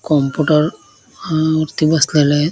Computer अ वरती बसलेला आहेत.